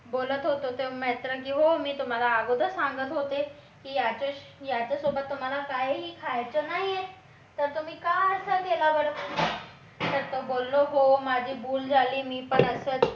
तो बोलत होता मित्र घेऊन हो मी तुम्हाला अगोदर सांगत होते की याच्या सोबत तुम्हाला काहीही खायचं नाही आहे तर तुम्ही का असं केलं तर तो बोललो हो माझी भूल झाली मी पण असंच बोलत होतो